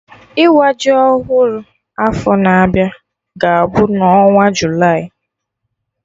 Ịwa ji ọhụrụ afọ na-abịa ga-abụ na onwa Julaị